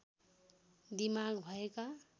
दिमाग भएका